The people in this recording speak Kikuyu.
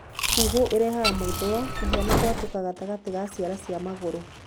Kuhũ ĩrehaga mwĩthũa, kũhĩa na gwatũka gatagatĩ ga ciara cia magũrũ.